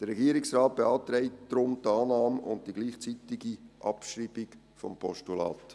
Der Regierungsrat beantragt deshalb die Annahme und die gleichzeitige Abschreibung des Postulats.